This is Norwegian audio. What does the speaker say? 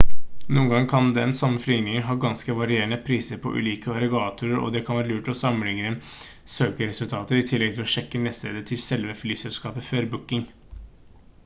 noen ganger kan den samme flyvningen ha ganske varierende priser på ulike aggregatorer og det kan være lurt å sammenligne søkeresultater i tillegg til å sjekke nettstedet til selve flyselskapet før booking